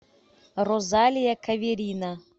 розалия каверина